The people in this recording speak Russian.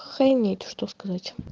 охренеть что сказать